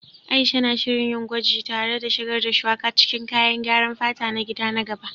Aisha na shirin yin gwaji tare da shigar da Shuwaka cikin kayan gyaran fata na gida na gaba